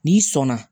N'i sɔnna